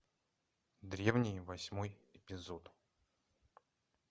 древние восьмой эпизод